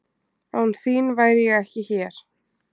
Án þín væri ég ekki hér.